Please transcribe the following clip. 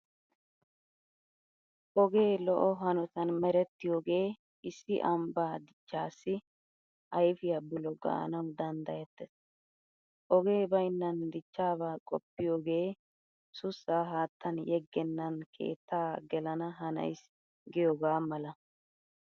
Ogee lo"o hanotan merettiyogee issi ambbaa dichchaassi ayfiya bulo gaanawu danddayettees. Ogee baynnan dichchaabaa qoppiyogee sussaa haattan yeggennan keettaa gelana hanaysi giyogaa mala.